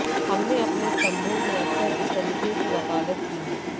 हमने अपने स्तम्भों में अक्सर इस तरीके की वकालत की है